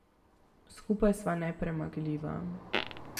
Skupaj sva nepremagljiva.